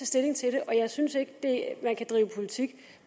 stilling til det og jeg synes ikke at man kan drive politik